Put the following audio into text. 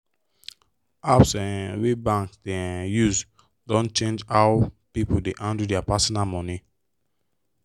apps um wey banks dey um use don change how people dey handle their personal money.